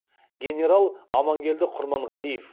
генерал аманкелді құрманғалиев